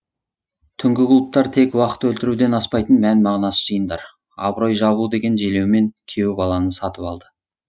түнгі клубтар тек уақыт өлтіруден аспайтын мән мағынасыз жиындар абырой жабу деген желеумен күйеу баланы сатып алды